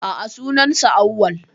A'a, sunan sa Awwal